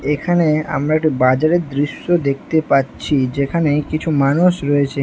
এখানে আমরা একটি বাজারের দৃশ্য দেখতে পাচ্ছি যেখানে কিছু মানুষ রয়েছে।